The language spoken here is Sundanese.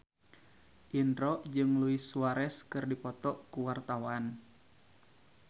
Indro jeung Luis Suarez keur dipoto ku wartawan